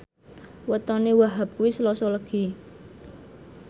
wetone Wahhab kuwi Selasa Legi